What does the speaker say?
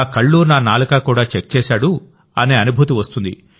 నా కళ్ళు నా నాలుక కూడా చెక్ చేశాడు అనే అనుభూతి వస్తుంది